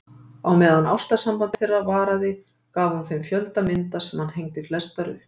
Á meðan ástarsamband þeirra varaði gaf hún þeim fjölda mynda sem hann hengdi flestar upp.